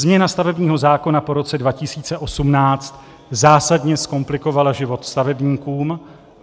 Změna stavebního zákona po roce 2018 zásadně zkomplikovala život stavebníkům.